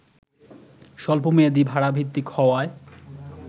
স্বল্পমেয়াদি ভাড়াভিত্তিক হওয়ায়